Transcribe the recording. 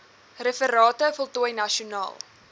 referate voltooi nasionaal